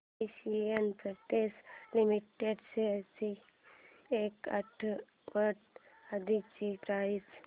Asian Paints limited shares ची एक आठवड्या आधीची प्राइस